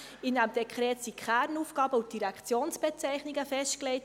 In diesem Dekret sind die Kernaufgaben und die Direktionsbezeichnungen festgelegt.